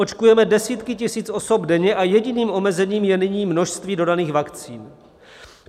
Očkujeme desítky tisíc osob denně a jediným omezením je nyní množství dodaných vakcín.